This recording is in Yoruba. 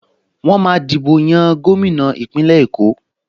Wọ́n máa dìbò yan gómìnà Ìpínlẹ̀ Èkó